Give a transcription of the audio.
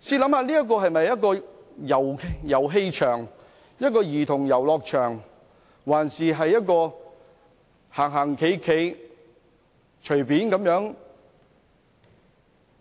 試想想這是否一個遊戲場、兒童遊樂場，或一個可以隨意走動、